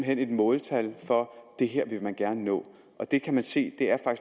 hen et måltal for at det her vil man gerne nå og det kan se er